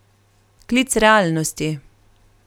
Klic realnosti.